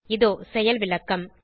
இதோ செயல்விளக்கம்